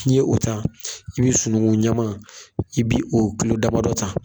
N'i ye o ta , i bɛ sunugun ɲɛman, i bi o kulo damadɔ ta.